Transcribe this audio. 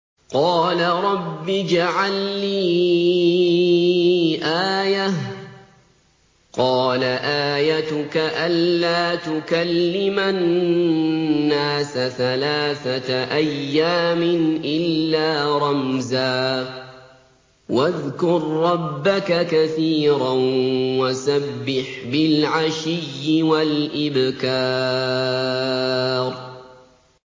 قَالَ رَبِّ اجْعَل لِّي آيَةً ۖ قَالَ آيَتُكَ أَلَّا تُكَلِّمَ النَّاسَ ثَلَاثَةَ أَيَّامٍ إِلَّا رَمْزًا ۗ وَاذْكُر رَّبَّكَ كَثِيرًا وَسَبِّحْ بِالْعَشِيِّ وَالْإِبْكَارِ